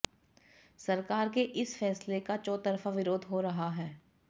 सरकार के इस फैसले का चौतरफा विरोध हो रहा है